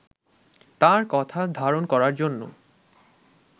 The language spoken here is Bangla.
তাঁর কথা ধারণ করার জন্য